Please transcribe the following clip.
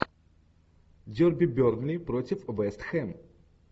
дерби бернли против вест хэм